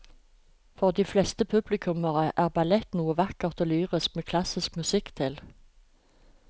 For de fleste publikummere er ballett noe vakkert og lyrisk med klassisk musikk til.